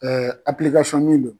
min don.